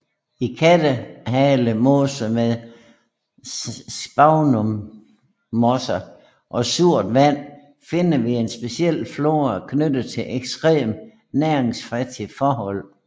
I Kattehale Mose med sphagnummosser og surt vand finder vi en speciel flora knyttet til ekstremt næringsfattige forhold